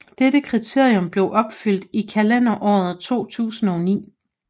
Dette kriterium blev opfyldt i kalenderåret 2009